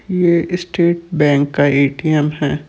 ये State Bank का ATM है।